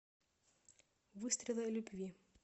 выстрелы любви